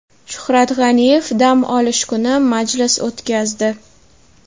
Shuhrat G‘aniyev dam olish kuni majlis o‘tkazdi.